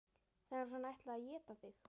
Það var eins og hún ætlaði að éta þig.